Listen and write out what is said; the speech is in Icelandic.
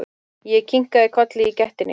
Ég kinkaði kolli í gættinni.